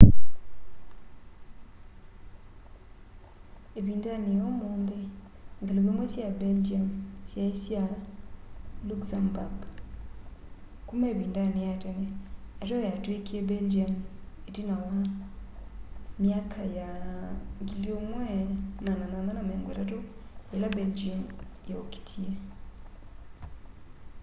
ivindani ya umunthi ngaliko imwe sya belgium syai sya luxembourg kuma ivindani ya tene ateo yatwikie belgian itina wa 1830s ila belgium yokitie